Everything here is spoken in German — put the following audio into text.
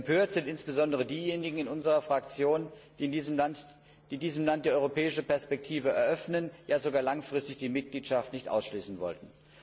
Empört sind insbesondere diejenigen in unserer Fraktion, die diesem Land die europäische Perspektive eröffnen, ja sogar langfristig die Mitgliedschaft nicht ausschließen wollten.